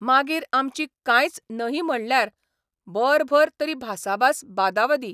मागीर आमची कांयच नहीं म्हणल्यार बरभर तरी भासाभास बादावादी.